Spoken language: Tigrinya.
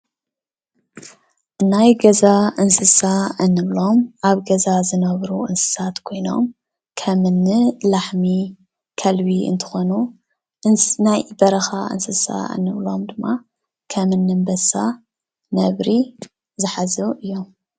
ናይ ገዛ እንስሳ እንብሎም አብ ገዛ ዝነብሩ እንስሳት ኮይኖም ከምእኒ ላሕሚ፣ ከልቢ እንትኮኑ ናይ በረካ እንስሳ እንብሎም ድማ ከምእኒ አንበሳ፣ ነብሪ ዝሓዙ እዮም።